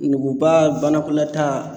Nuguba banakɔlataa